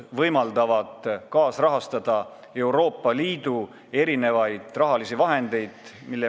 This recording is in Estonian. Need võimaldavad kaasrahastada projekte, mis me viime ellu Euroopa Liidu rahaga.